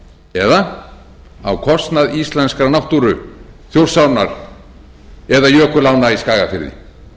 eða á kostnað íslenskrar náttúru þjórsárinnar eða jökulánna í skagafirði